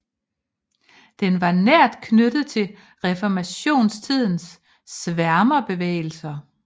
Den var nært knyttet til reformationstidens sværmerbevægelser